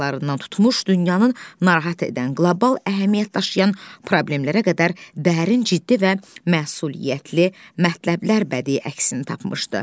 qayalarında tutmuş dünyanın narahat edən qlobal əhəmiyyət daşıyan problemlərə qədər dərin, ciddi və məsuliyyətli mətləblər bədi əksini tapmışdı.